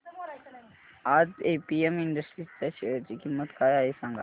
आज APM industries च्या share ची किंमत काय आहे सांगा